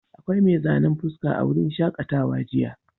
Akwai mai zanen fuska a wurin shaƙatawa jiya.